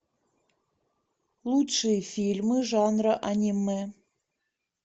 лучшие фильмы жанра аниме